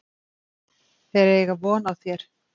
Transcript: Þeir eiga von á þér.